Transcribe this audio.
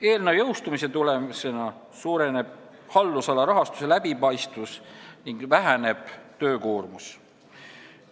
Eelnõu seadusena jõustumise tulemusena suureneb haldusala rahastuse läbipaistvus ning väheneb töökoormus.